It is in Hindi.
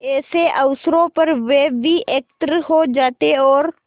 ऐसे अवसरों पर वे भी एकत्र हो जाते और